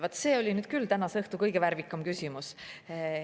Vaat see oli nüüd küll tänase õhtu kõige värvikam küsimus.